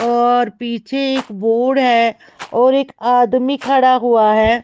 और पीछे एक बोर्ड है और एक आदमी खड़ा हुआ है।